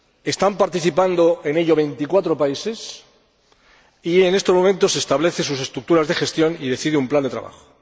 Están participando en ello veinticuatro países y en estos momentos se establecen sus estructuras de gestión y se decide un plan de trabajo.